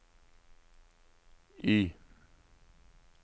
Y